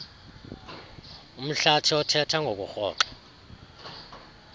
umhlathi othetha ngokurhoxa